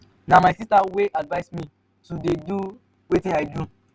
na my sister wey advice me to dey do wetin i dey do.